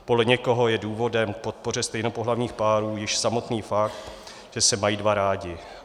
Podle někoho je důvodem k podpoře stejnopohlavních párů již samotný fakt, že se mají dva rádi.